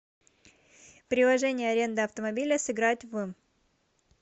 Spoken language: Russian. приложение аренда автомобиля сыграть в